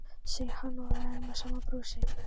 segir hann og er enn með sama brosið.